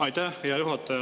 Aitäh, hea juhataja!